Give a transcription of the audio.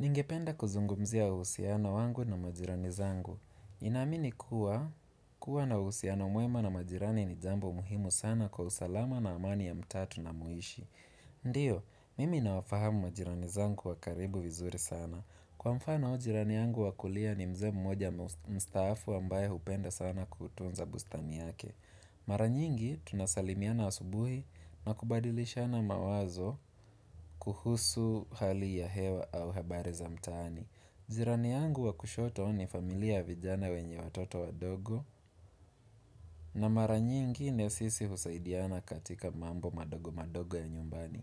Ningependa kuzungumzia uhusiano wangu na majirani zangu. Naamini kuwa, kuwa na uhusiano mwema na majirani ni jambo muhimu sana kwa usalama na amani ya mtaa tunapoishi. Ndiyo, mimi nawafahamu majirani zangu wa karibu vizuri sana. Kwa mfano jirani yangu wa kulia ni mzee mmoja mstaafu ambaye hupenda sana kutunza bustani yake. Mara nyingi tunasalimiana asubuhi na kubadilishana mawazo kuhusu hali ya hewa au habari za mtaani jirani yangu wa kushoto ni familia ya vijana wenye watoto wadogo na mara nyingi na sisi husaidiana katika mambo madogo madogo ya nyumbani